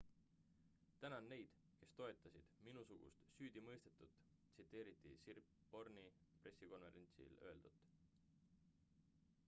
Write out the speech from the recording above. tänan neid kes toetasid minusugust süüdimõistetut tsiteeriti siriporn'i pressikonverentsil öeldut